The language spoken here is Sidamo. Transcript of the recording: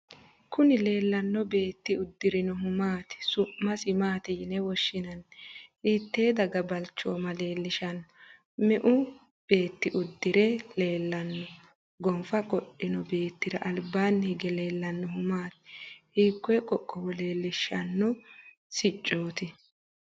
Kininnibleellanno beetti uddirinohu maati? Su'masi maati yine woshshinanni? Hiittee daga balchooma leellishanno? Meu beetyi uddire leellanno? Gonfa qodhino beettira albaanni hige leellannohu maati? Hiikkoyi qoqqowo leellishanno siccooti?